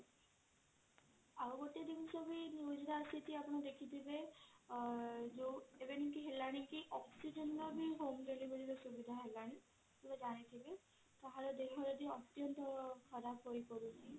ଆଉ ଗୋଟେ ଜିନିଷ ବି news ରେ ଆସେ ଆପଣ ଦେଖିଥିବେ ଆଂ oxygen ବି home delivery ର ସୁବିଧା ହେଲାଣି କାହାର ଦେହ ଯଦି ଅତ୍ୟନ୍ତ ଖର୍ବ ହେଇ ପଡୁଛି